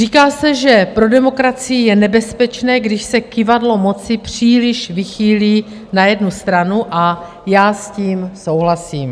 Říká se, že pro demokracii je nebezpečné, když se kyvadlo moci příliš vychýlí na jednu stranu, a já s tím souhlasím.